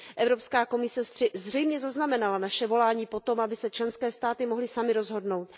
Evropská komise zřejmě zaznamenala naše volání po tom, aby se členské státy mohly samy rozhodnout.